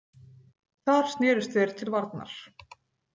Þar snerust þeir til varnar.